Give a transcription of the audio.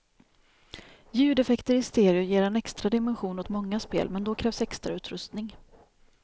Ljudeffekter i stereo ger en extra dimension åt många spel, men då krävs extrautrustning.